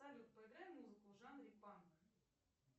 салют поиграй музыку в жанре панк